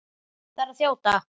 Ég þarf að þjóta.